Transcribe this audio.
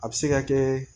A bɛ se ka kɛ